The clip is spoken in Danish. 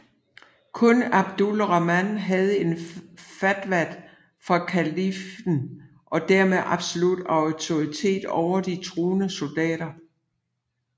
Kun Abdul Rahman havde en fatwa fra kalifen og dermed absolut autoritet over de troende soldater